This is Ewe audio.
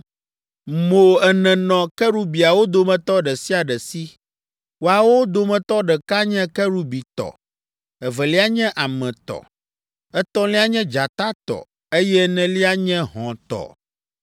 Mo ene nɔ kerubiawo dometɔ ɖe sia ɖe si. Moawo dometɔ ɖeka nye kerubi tɔ, evelia nye ame tɔ, etɔ̃lia nye dzata tɔ eye enelia nye hɔ̃ tɔ.